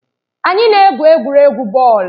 Anyị na-egwu egwuregwu bọọlụ.